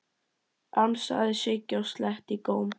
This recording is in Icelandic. ansaði Siggi og sletti í góm.